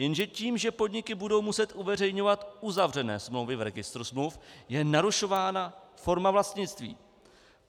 Jenže tím, že podniky budou muset uveřejňovat uzavřené smlouvy v registru smluv, je narušována forma vlastnictví.